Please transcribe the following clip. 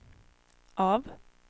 av